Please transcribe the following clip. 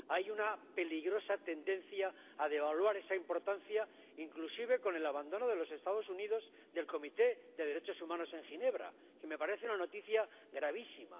Hay una peligrosa tendencia a devaluar esa importancia, inclusive con el abandono de los Estados Unidos del Consejo de Derechos Humanos de las Naciones Unidas, que me parece una noticia gravísima.